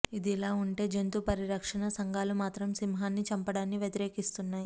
ఇది ఇలా ఉంటే జంతు పరిరక్షణ సంఘాలు మాత్రం సింహాన్ని చంపడాన్ని వ్యతిరేకిస్తున్నాయి